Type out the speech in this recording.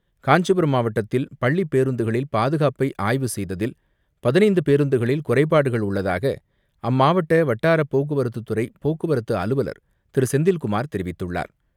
காஞ்சிபுரம் மாவட்டத்தில் பள்ளிப் பேருந்துகளில் பாதுகாப்பை ஆய்வு செய்ததில் பதினைந்து பேருந்துகளில் குறைபாடுகள் உள்ளதாக அம்மாவட்ட வட்டார போக்குவரத்துத்துறை போக்குவரத்து அலுவலர் திரு செந்தில்குமார் தெரிவித்துள்ளார்.